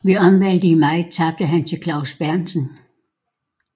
Ved omvalget i maj tabte han til Klaus Berntsen